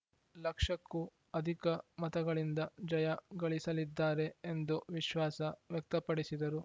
ಲಕ್ಷಕ್ಕೂ ಅಧಿಕ ಮತಗಳಿಂದ ಜಯ ಗಳಿಸಲಿದ್ದಾರೆ ಎಂದು ವಿಶ್ವಾಸ ವ್ಯಕ್ತಪಡಿಸಿದರು